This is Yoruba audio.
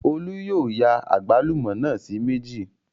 Olú yóò ya àgbálùmọ́ náà sí méjì